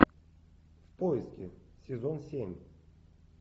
поиски сезон семь